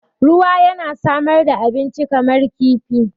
Ruwa yana samar da abinci kamar kifi.